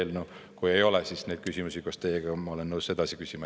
Kui ei ole, siis ma olen nõus neid küsimusi koos teiega edasi küsima.